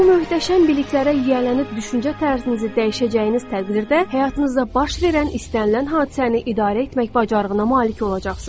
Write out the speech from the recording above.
Bu möhtəşəm biliklərə yiyələnib düşüncə tərzinizi dəyişəcəyiniz təqdirdə, həyatınızda baş verən istənilən hadisəni idarə etmək bacarığına malik olacaqsız.